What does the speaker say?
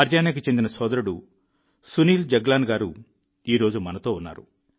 హర్యానాకు చెందిన సోదరుడు సునీల్ జగ్లాన్ గారు ఈరోజు మనతో ఉన్నారు